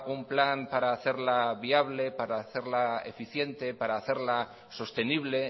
un plan para hacerla viable para hacerla eficiente para hacerla sostenible